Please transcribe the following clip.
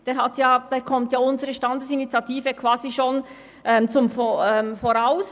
Damit eilt unsere Standesinitiative eigentlich voraus.